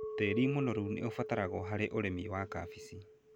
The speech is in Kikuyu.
Tĩĩri mũnoru nĩ ũbataragwo harĩ ũrĩmi wa kabici.